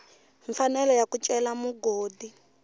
mfanelo ya ku cela mugodi